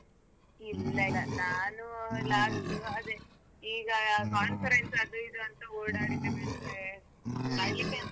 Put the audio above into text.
ಇಲ್ಲ ಇಲ್ಲ ಇಲ್ಲ ನಾನೂ last ಅದೆ ಈಗ conference ಅದು ಇದು ಅಂತ ಓಡಾಡಿದ್ರೆ ಮತ್ತೆ.